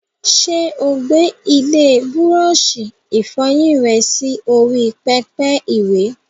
Ṣé o gbé ilé búrọ́ọ̀ṣì ìfọyín rẹ sí orí pẹpẹ ìwẹ̀?